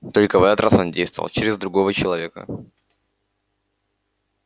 только в этот раз он действовал через другого человека